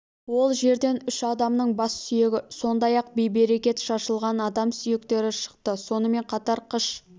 ол жерден үш адамның бас сүйегі сондай-ақ бей-берекет шашылған адам сүйектері шықты сонымен қатар қыш